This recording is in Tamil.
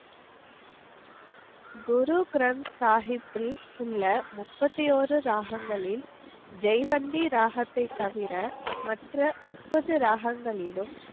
குரு கிரந்த் சாஹிப்பில் உள்ள முப்பத்தி ஒரு ராகங்களில் ஜெய்வந்தி ராகத்தை தவிர மற்ற முப்பது ராகங்களிலும்.